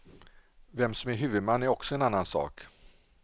Vem som är huvudman är också en annan sak.